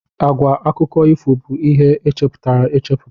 Àgwà akụkọ ifo bụ ihe e chepụtara echepụta.